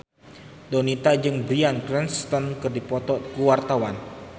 Donita jeung Bryan Cranston keur dipoto ku wartawan